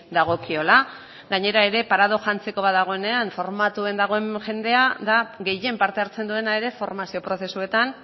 dagokiola gainera ere paradoxa hantzeko bat dagoenean formatuen dagoen jendea da gehien parte hartzen duena ere formazio prozesuetan